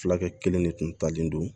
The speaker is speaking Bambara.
Fulakɛ kelen de kun talen don